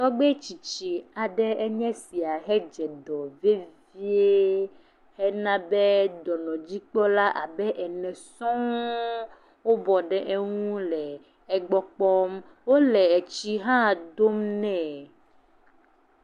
Tɔgbui tsitsi aɖe enye sia hedze dɔ vevie hena be dɔnɔdzikpɔla abe ene sɔŋ wobɔ ɖe eŋu le gbɔ kpɔm. wo le tsi hã dom nɛ.